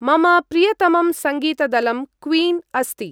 मम प्रियतमं सङ्गीत-दलं क्वीन् अस्ति।